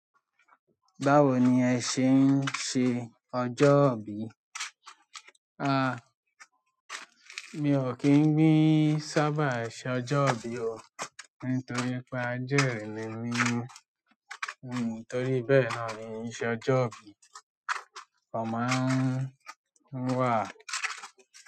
Báwo ni ẹ ṣe ń ṣe ọjọ́ ìbí? A! Mi ò kín ń gbin sábà ṣọjọ́bí o nítorí pé ajẹ́ri ni mi, nítorí bẹ́ẹ̀ náà ni i n ṣọjọ́bí kan máa ń wà.